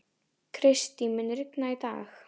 Kristý, mun rigna í dag?